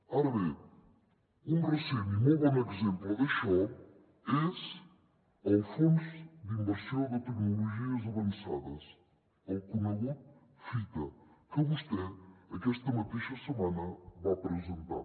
ara bé un recent i molt bon exemple d’això és el fons d’inversió de tecnologies avançades el conegut fita que vostè aquesta mateixa setmana va presentar